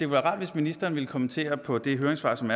være rart hvis ministeren ville kommentere på de høringssvar som